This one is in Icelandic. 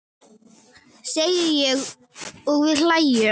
segi ég og við hlæjum.